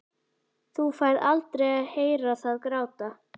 Þú færð aldrei að heyra það gráta.